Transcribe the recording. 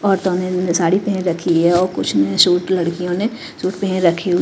औरतों ने साड़ी पहन रखी है और कुछ ने सुट लड़कियों ने सुट पहन रखी--